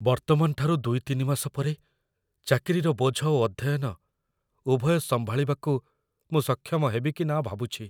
ବର୍ତ୍ତମାନଠାରୁ ଦୁଇ ତିନି ମାସ ପରେ, ଚାକିରିର ବୋଝ ଓ ଅଧ୍ୟୟନ, ଉଭୟ ସମ୍ଭାଳିବାକୁ ମୁଁ ସକ୍ଷମ ହେବି କି ନା ଭାବୁଛି।